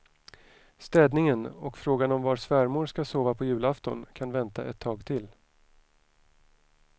Städningen och frågan om var svärmor ska sova på julafton kan vänta ett tag till.